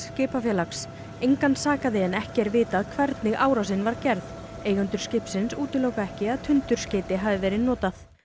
skipafélags engan sakaði en ekki er vitað hvernig árásin var gerð eigendur skipsins útiloka ekki að tundurskeyti hafi verið notað